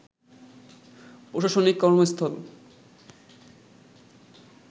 প্রশাসনিক কর্মস্থল